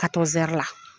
Ka to zɛri la